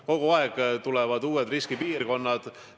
Kogu aeg lisanduvad uued riskipiirkonnad.